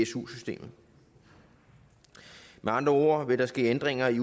su systemet med andre ord vil der ske ændringer i